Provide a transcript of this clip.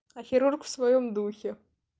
а хирург в своём духе